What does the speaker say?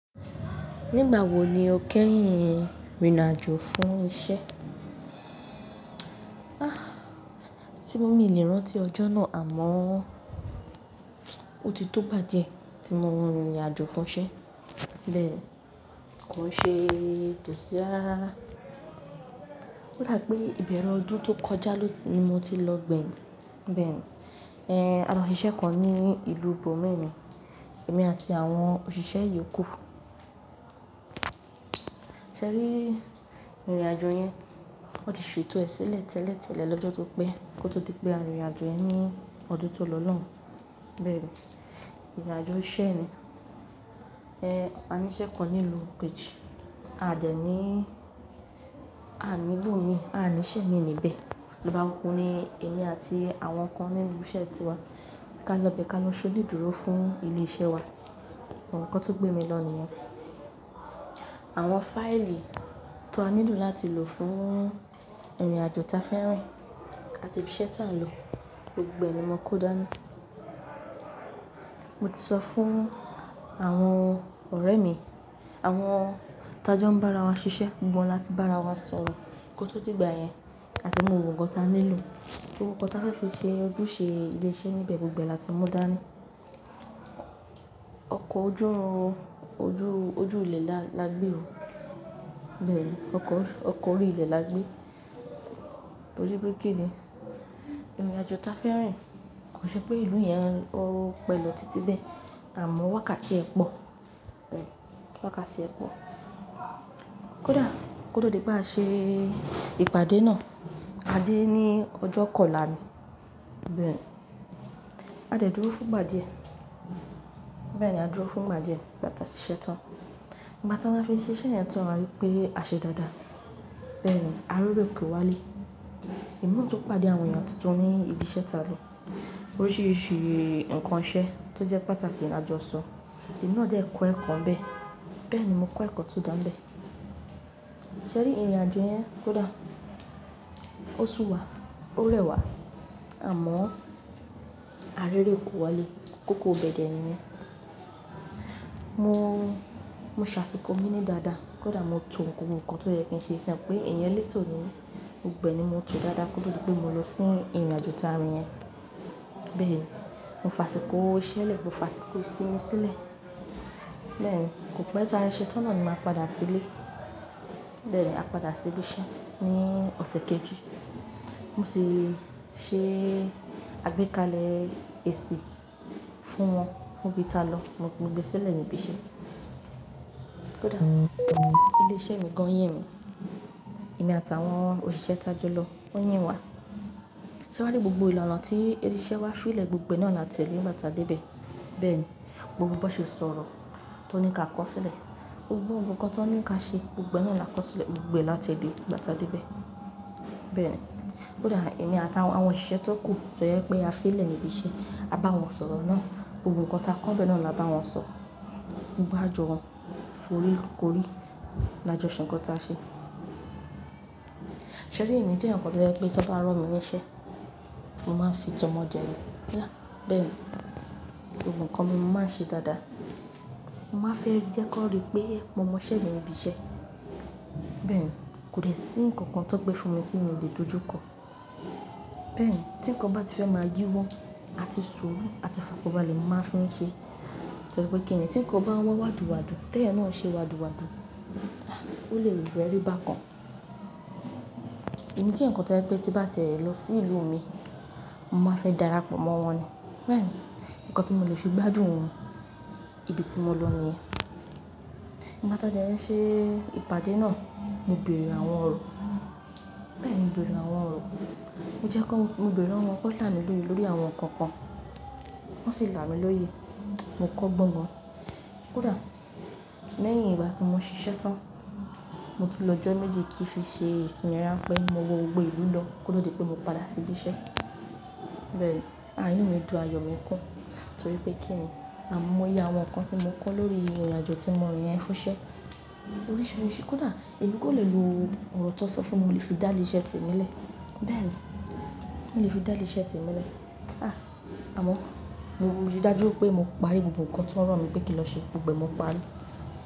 Nígbà wo ni o kẹ́yìn rìnrìn àjò fún iṣẹ́? Ah, tí mo mì lérán ti ọjọ́ náà àmọ́, ó ti tó gbá díẹ̀ tí mo rìnrìn àjò fún iṣẹ́. Bẹ́ẹ̀ni, kò ṣe tò sí rárá. Ó dà pé ìbẹ̀rẹ̀ ọdún tó kọjá lò ti ni, mo ti lọ gbẹ̀yìn. Bẹ́ẹ̀ni, ẹ́ àlọ́ ṣìṣe kan ní ìlú bòmi ní, èmi àti àwọn òṣìṣẹ́ yòókù. Ṣẹ́rí, ìrìn àjò yẹn, wọ́n ti ṣe ètò ẹ́ sílẹ̀ tẹ́lẹ̀ tẹ́lẹ̀ lọ́jọ́ tó pẹ́ kó tó di pé a rìnrìn àjò yẹ́n ní ọdún tó lọ lọ́hùn. Bẹ́ẹ̀ni, rìnrìn àjò iṣẹ́ ni. Ẹ́ àníṣẹ́ kan ní ìlú kejì, a dẹ̀ ní àní ibòmí, àní iṣẹ́ mi níbẹ̀. Ba òkú ni èmi àti àwọn kan ní ibise tiwa. Ká lọ bẹ́ kà lọ sonidúró fún ilé iṣẹ́ wa. Àwọn nǹkan tó gbé mi lọ ní yen àwọn fáìlì tó á nílò láti lò fún ìrìn àjò ta fẹ́ rìn àti ibi iṣẹ́ tí a ń lọ, gbogbo ẹ ni mo kó dàni. Mo ti sọ fún àwọn ọ̀rẹ́ mi, àwọn tá jọ ń bá ara wa ṣiṣẹ́, gbogbo wọn láti bá ara wa sọ̀rọ̀ kó tó di ìgbà yẹn àti mú gbogbo kan n ta nílò. Gbogbo ǹkan ta fẹ́ fi ṣe ojúṣe ilé iṣẹ́ níbẹ̀ gbogbo ẹ láti mú dàni ọkọ̀ ojú, ojú, ojú ìle la gbé o. Bẹ́ẹ̀ni, ọkọ̀, ọkọ̀ orí ilẹ̀ la gbé. Torí pé kíni, riìn àjò ta fẹ́ rìn kò n ṣe pé ìlú yẹn ó pẹ̀lọ̀ títí bẹ́ẹ̀ àmọ́ wákàtí ẹ pọ̀. Bẹ́ẹ̀ni, wákàtí ẹ pọ̀. Kódà kóto di pé a ṣe ìpàdé náà a dé ní ọjọ́ kọ́la ni. Bẹ́ẹ̀ni, a dẹ̀ dúró fún ìgbà díẹ̀. Bẹ́ẹ̀ni, a dúró fún ìgbà díẹ̀ ìgbà tá a ṣiṣẹ́ tán. Ìgbà tá máa fi ṣe iṣẹ́ yẹn tán a rí pé a ṣe dáadáa. Bẹ́ẹ̀ni, ari ère kò wálé. Èmi náà tún pàdé àwọn èèyàn tuntun ní ibi iṣẹ́ ta lò. Oríṣìíríṣìí nǹkan iṣẹ́ tó jẹ́ pàtàkì là jọ sọ. Èmi náà jẹ́ kọ́ ẹ̀kọ́ n bẹ́ẹ̀. Bẹ́ẹ̀ni, mo kọ́ ẹ̀kọ́ tó dà ńbẹ̀. Sẹ́rí, ìrìn àjò yẹn kódà ó su wá, ó rẹwà àmọ́ ar'ere kò wálé. Ko ko bẹ̀e de nìyẹn. Mo, mo ṣàsìkò mi ní dáadáa. Kódà mo to gbogbo nǹkan tó yẹ kí n ṣe mo pé èèyàn lẹ́tò ni mí. Gbogbo ẹ ni mo tò dáadáa koto di pé mo lọ sí ìrìnàjò ta rín yẹn. Bẹ́ẹ̀ni, mo fàsìkò iṣẹ́ lẹ̀, mo fàsìkò ìsinmi sílẹ̀. Bẹ́ẹ̀ni, kò pẹ́ ta ṣe ṣe tán náà ni màá padà sílé. Bẹ́ẹ̀ni, a padà sí ibi iṣẹ́ ní ọ̀sẹ̀ kejì. Mo sì ṣe, a gbé kalẹ̀ èsì fún wọn, fún ibi ta lọ. Mo gbé sílẹ̀ ní ibi iṣẹ́. Kódà ilé iṣẹ́ mi gan yin mi. Èmi àti àwọn òṣìṣẹ́ tá jọ lọ wọ́n yin wa. Sẹ́ wari gbogbo ìlànà tí ilé iṣẹ́ wa fìlẹ̀ gbogbo náà la tẹ̀lé nígbà tá a dé bẹ́ẹ̀. Bẹ́ẹ̀ni, gbogbo bó ṣe sọ̀rọ̀ tó ní kí a kọ̀ sílẹ̀, gbogbo ohun ǹkan tó ní kí á ṣe gbogbo náà la kọ̀ sílẹ̀, gbogbo ẹ la tẹ̀lé nígbà tá a dé bẹ́ẹ̀. Bẹ́ẹ̀ni, kódà èmi àti àwọn òṣìṣẹ́ tó kù tó yẹ pé a fi ìlẹ̀ ní ibi iṣẹ́, a bá wọn sọ̀rọ̀ náà. Gbogbo ǹkan ta kọ́ n bẹ́ẹ̀ náà la bá wọn sọ. Gbogbo jọ foríkorì làjọ ṣẹ̀ nǹkan ta ṣe. Sẹ́rí èmi jẹ́ èèyàn ǹkan tó jẹ pé tó bá ran mí ní iṣẹ́, mo máa ń fi tọmọ jẹ́ rí. Bẹ́ẹ̀ni, gbogbo ǹkan mi mo máa ń ṣe dáadáa. Mo máa ń fẹ́ jẹ́ kó rí pé mo mọ iṣẹ́ mi ní ibi iṣẹ́. Bẹ́ẹ̀ni, kò dẹ̀ sí nǹkan kan tó gbé fún mi tí mo lè dojú kọ. Bẹ́ẹ̀ni, tí nǹkan bá ti fẹ́ máa yí wọ àti sùúrù àti ìfọkànbalẹ̀ bá lè mo máa fín ṣe. Torí pé kíni tí nǹkan bá wa wádùwádù, ti eyan náà ṣe n wádùwádù, ó lè rò fẹrí bá kan. Èmi jẹ́ eyan kan tó jẹ́ pé tí bá ti e lọ sí ìlú mi, mo máa fẹ́ darapọ̀ mọ́ wọn ni. Bẹ́ẹ̀ni, nǹkan tí mo lè fi gbádùn ibi tí mo lọ nìyẹn. Ìgbà tá a dẹ̀ n ṣe ìpàdé náà, mo bèèrè àwọn ọ̀rọ̀. Bẹ́ẹ̀ni, mo bèèrè àwọn ọ̀rọ̀. Jẹ́ kí n-- mo bèèrè lowọn kọ́ là mí lórí àwọn nǹkan kan. Wọ́n sì là mí lóye. Mo kọ́ gbọ́n gan. Kódà lẹ́yìn ìgbà tí mo ṣiṣẹ́ tán, mo tún lọ́jọ́ méjì kí fi ṣe ìsìnmi ránpẹ́ mo wo gbogbo ìlú lọ kóto di pé mo padà sí ibi iṣẹ́. Bẹ́ẹ̀ni, inú mi dùn ayọ̀ mi kún torí pé kíni àmọ́ ye àwọn nǹkan tí mo kọ́ lórí ìrìnàjò tí mo rìn yẹn fún iṣẹ́. Oríṣìíríṣìí kódà èmi gan lè lò ọ̀rọ̀ tó sọ fún mi mo lè fi dá ilé iṣẹ́ tèmi lẹ̀. Bẹ́ẹ̀ni, mo lè fi dálì iṣẹ́ tèmi lẹ̀. Ah! Àmọ́ mo rí dájú pé mo parí gbogbo nǹkan tí wọ́n rán mi pé kí n lọ ṣe gbogbo e mo parí.